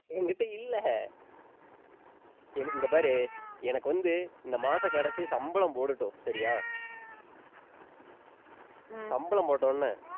என்கிட்ட இல்ல எனக்கு இங்க பாரு எனக்கு வந்து இந்த மாசம் கடைசி சம்பளம் போடட்டும், சரியா சம்பளம் போட்ட உடனே,